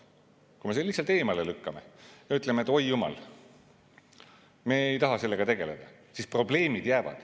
Kui me selle lihtsalt eemale lükkame, ütleme, et oi jumal, me ei taha sellega tegeleda, siis probleemid jäävad.